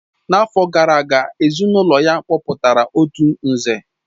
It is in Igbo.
N'afọ gara aga, ezinụlọ ya kpọpụtara otu Nze